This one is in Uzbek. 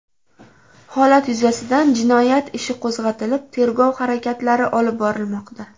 Holat yuzasidan jinoyati ishi qo‘zg‘atilib, tergov harakatlari olib borilmoqda.